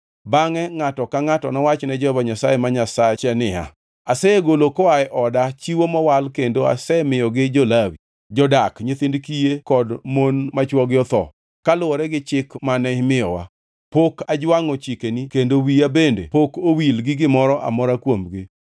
Bangʼe ngʼato ka ngʼato nowach ne Jehova Nyasaye ma Nyasache niya, “Asegolo koa e oda chiwo mowal kendo asemiyogi jo-Lawi, jodak, nyithind kiye kod mon ma chwogi otho, kaluwore gi chik mane imiyowa. Pok ajwangʼo chikeni kendo wiya bende pok owil gi gimoro amora kuomgi.